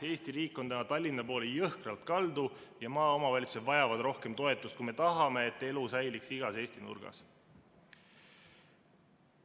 Eesti riik on täna jõhkralt Tallinna poole kaldu ja maaomavalitsused vajavad rohkem toetust, kui me tahame, et elu säiliks igas Eesti nurgas.